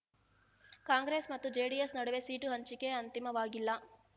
ಕಾಂಗ್ರೆಸ್ ಮತ್ತು ಜೆಡಿಎಸ್ ನಡುವೆ ಸೀಟು ಹಂಚಿಕೆ ಅಂತಿಮವಾಗಿಲ್ಲ